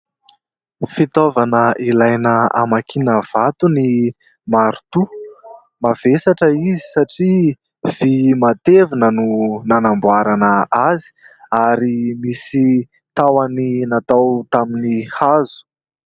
Fitaovana ilaina hamakiana vato ny maritoa, mavesatra izy satria vy matevina no nanamboarana azy ary misy tahony natao tamin'ny hazo.